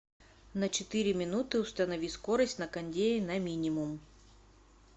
на четыре минуты установи скорость на кондее на минимум